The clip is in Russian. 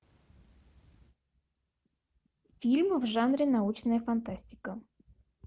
фильм в жанре научная фантастика